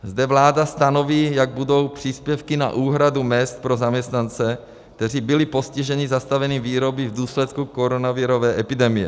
Zde vláda stanoví, jak budou příspěvky na úhradu mezd pro zaměstnance, kteří byli postiženi zastavením výroby v důsledku koronavirové epidemie.